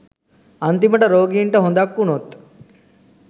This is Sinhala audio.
අන්තිමට රෝගීන්ට හොඳක් වුනොත්